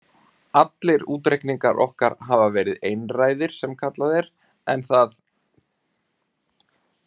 Allir útreikningar okkar hafa verið einræðir sem kallað er, en það